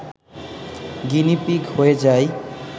guinea pig হয়ে যাই